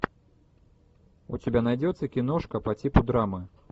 у тебя найдется киношка по типу драмы